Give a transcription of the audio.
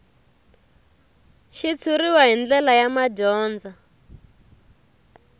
xitshuriwa hi ndlela ya madyondza